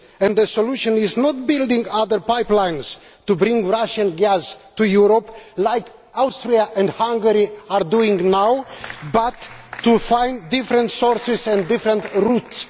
The solution is not to build other pipelines to bring Russian gas to Europe as Austria and Hungary are doing now but to find different sources and different routes.